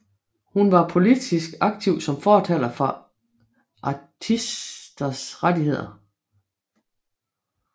Hun var politisk aktiv som fortaler for artisters rettigheder